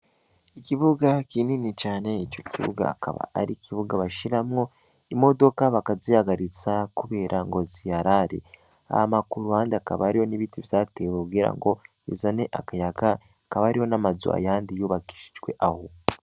Ikibuga kinini cane ico kibuga akaba ari ikibuga bashiramwo imodoka bakaziyagaritsa, kubera ngo ziyarare aha makuruhandi akaba ariyo n'ibiti vyatewe kugira ngo bezane akayaga akaba ariho n'amazua yandi yubakishijwe aho.